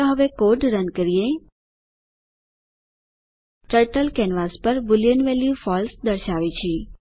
ચાલો હવે code run કરીએ ટર્ટલ કેનવાસ પર બુલિયન વેલ્યુ ફળસે દર્શાવે છે